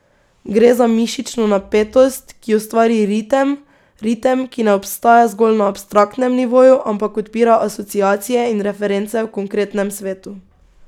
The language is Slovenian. Gre za mišično napetost, ki ustvari ritem, ritem, ki ne obstaja zgolj na abstraktnem nivoju, ampak odpira asociacije in reference v konkretnem svetu.